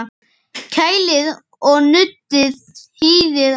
Kælið og nuddið hýðið af.